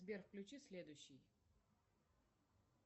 сбер включи следующий